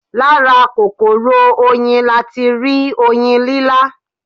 Lára kòkòrò Oyin latirí Oyin lílá